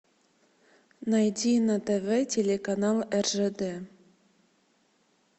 найди на тв телеканал ржд